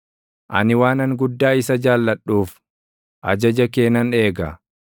Ani waanan guddaa isa jaalladhuuf, ajaja kee nan eega.